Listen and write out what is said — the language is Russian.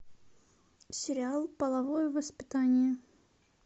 сериал половое воспитание